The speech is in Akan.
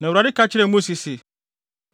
Na Awurade ka kyerɛɛ Mose se,